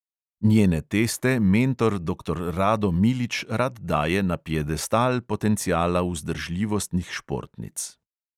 Njene teste mentor doktor rado milič rad daje na piedestal potenciala vzdržljivostnih športnic.